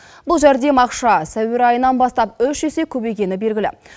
бұл жәрдем ақша сәуір айынан бастап үш есе көбейгені белгілі